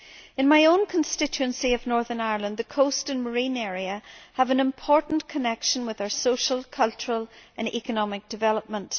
In my own constituency of Northern Ireland, the coast and marine areas have an important connection with our social, cultural and economic development.